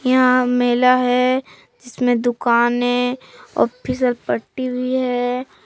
यहां मेला है जिसमें दुकानें पट्टी भी हैं।